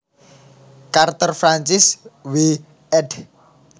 Carter Francis W ed